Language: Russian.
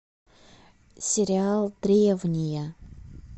сериал древние